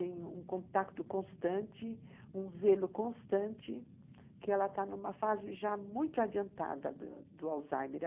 um contato constante, um zelo constante, que ela está numa fase já muito adiantada do do do Alzheimer.